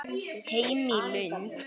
Heim í Lund.